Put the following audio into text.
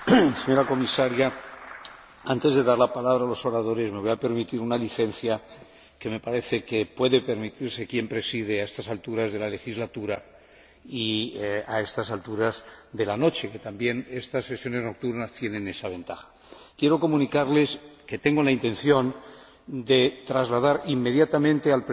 Antes de dar la palabra a los oradores me voy a permitir una licencia que me parece que puede permitirse a quien preside a estas alturas de la legislatura y a estas alturas de la noche, que también estas sesiones nocturnas tienen esa ventaja. Quiero comunicarles que tengo la intención de trasladar inmediatamente al Presidente y a la Mesa del Parlamento